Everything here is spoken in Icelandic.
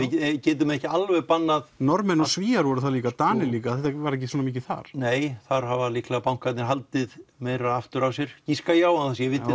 getum ekki alveg bannað Norðmenn og Svíar voru þar líka Danir líka þetta var ekki svona mikið þar nei þar hafa líklega bankarnir haldið meiru aftur af sér giska ég á án þess að vita